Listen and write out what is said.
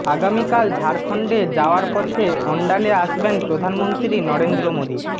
আগামিকাল ঝাড়খণ্ডে যাওয়ার পথে অন্ডালে আসবেন প্রধানমন্ত্রী নরেন্দ্র মোদী